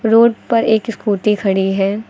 Road पर एक scooty खड़ी है।